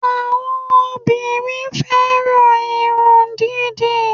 Àwọn obìnrin fẹ́ràn irun dídì